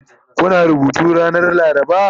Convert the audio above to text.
Kuna rubutu ranar laraba?